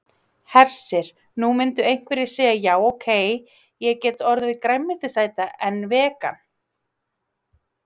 Hersir: Nú myndu einhverjir segja já ok, ég get orðið grænmetisæta en vegan?